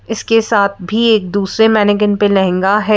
इसके साथ भी एक दूसरे मैनेगन पे लहंगा है।